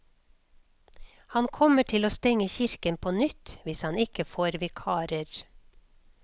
Han kommer til å stenge kirken på nytt hvis han ikke får vikarer.